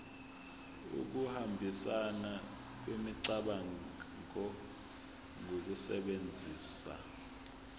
ukuhambisana kwemicabango ngokusebenzisa